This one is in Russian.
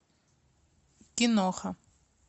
киноха